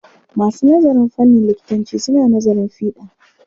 Masu nazarin fannin likitanci suna nazarin fiɗa.